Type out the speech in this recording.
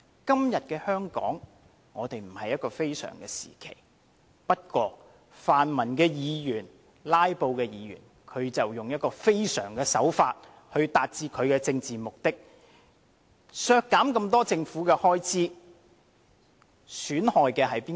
今天的香港並非處於非常時期，不過泛民及"拉布"的議員卻用了非常手法來達致其政治目的，削減這麼多政府開支，損害的是誰？